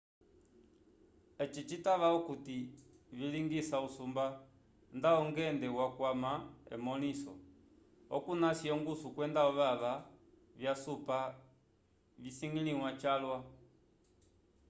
evi citava okuti vilingisa usumba nda ongende wakwama emõliso okunasi ongusu kwenda ovava vyasupa visukiliwa calwa